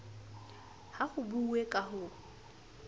ha ho buuwe ka ho